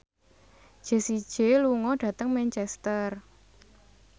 Jessie J lunga dhateng Manchester